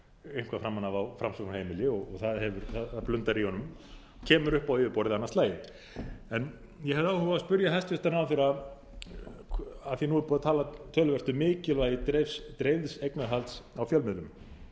eitthvað framan af á framsóknarheimili og það blundar í honum kemur upp á yfirborðið annað slagið ég hefði áhuga á að spyrja hæstvirtan ráðherra af því að nú er búið að tala töluvert um mikilvægi dreifðs eignarhalds á bönkum